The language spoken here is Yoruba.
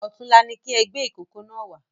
Ọ̀túnla ní kí ẹ gbé ìkókó náà wá